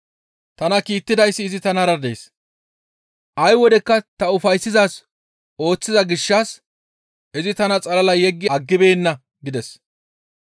Tana kiittidayssi izi tanara dees. Ay wodekka ta ufayssizaaz ooththiza gishshas izi tana xalala yeggi aggibeenna» gides.